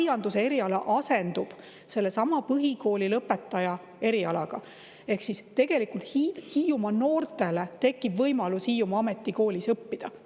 Aianduse eriala asendub sellesama põhikoolilõpetaja erialaga ehk tegelikult tekib Hiiumaa noortele võimalus Hiiumaa Ametikoolis õppida.